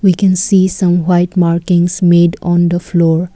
we can see some white markings made on the floor.